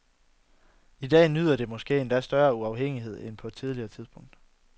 I dag nyder det måske endda større uafhængighed end på noget tidligere tidspunkt.